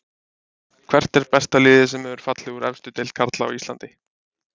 Hvert er besta liðið sem hefur fallið úr efstu deild karla á Íslandi?